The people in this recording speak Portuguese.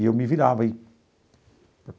E eu me virava aí.